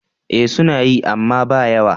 Eh suna yi, amma ba yawa.